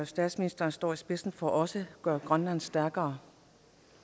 statsministeren står i spidsen for også gør grønland stærkere